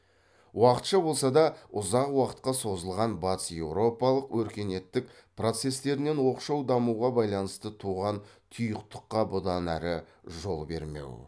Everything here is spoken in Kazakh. уақытша болса да ұзақ уақытқа созылған батыс еуропалық өркениеттік процестерінен оқшау дамуға байланысты туған тұйықтыққа бұдан әрі жол бермеу